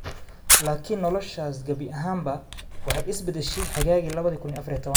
laakiin noloshaas gabi ahaanba is bedeshay xagaagii 2014-kii.